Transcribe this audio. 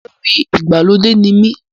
Olórin ìgbàlódé ni mí